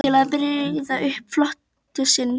Íslands til að birgja upp flota sinn.